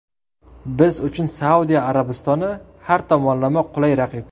Biz uchun Saudiya Arabistoni har tomonlama qulay raqib!”.